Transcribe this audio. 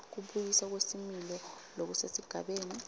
kubuyiswa kwesimilo lokusesigabeni